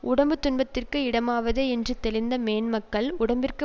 உடம்பு துன்பத்திற்கு இடமாவதே என்று தெளிந்த மேன்மக்கள் உடம்பிற்கு